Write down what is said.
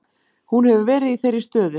Hún hefur verið í þeirri stöðu